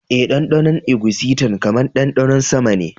Eh, ɗanɗanon eguisinta kamar ɗanɗanon sama ne